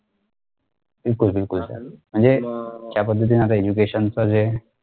बिलकुल बिलकुल sir म्हणजे ज्या पद्धतीने आता education जे